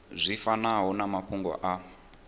zwi fanaho na mafhungo a